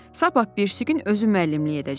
Sabah birisi gün özü müəllimlik edəcək.